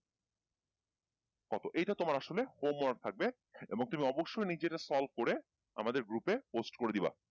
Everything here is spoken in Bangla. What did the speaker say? কত এইটা তোমার আসলে home work থাকবে এবং তুমি অবশই নিজে এটা solve করে আমাদের group এ post করে দিবা